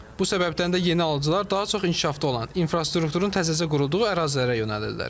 Bu səbəbdən də yeni alıcılar daha çox inkişafda olan, infrastrukturun təzəcə qurulduğu ərazilərə yönəlirlər.